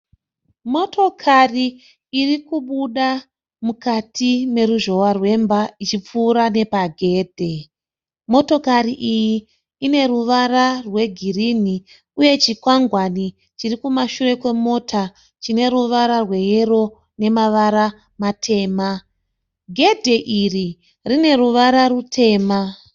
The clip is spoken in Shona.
Motokari iri kubuda mukati meruzhowa rwemba ichipfuura nepagedhe. Motokari iyi ine ruvara rwegirini uye chikwangwani chiri kumashure kwemota chine ruvara rweyero nemavara matema. Gedhe iri rine ruvara rutema.